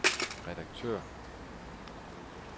redaktør